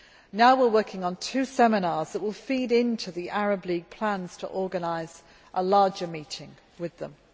Now we are working on two seminars that will feed into the Arab League plans to organise a larger meeting with them.